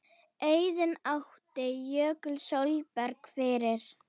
Auðunn átti Jökul Sólberg fyrir.